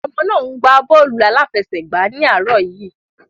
Àwọn ọmọ náà ń gbá bọ́ọ̀lù aláfẹsẹ̀gbá ní àárọ̀ yìí.